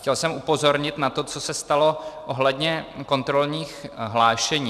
Chtěl jsem upozornit na to, co se stalo ohledně kontrolních hlášení.